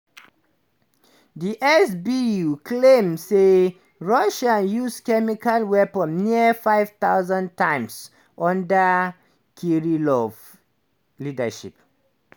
di sbu claim say russia use chemical weapons nearly 5000 times under kirillov leadership.